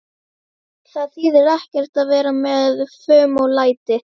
Það þýðir ekkert að vera með fum og læti.